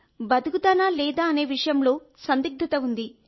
బతుకుతానా లేదా అనే విషయంలో సందిగ్ధత ఉంది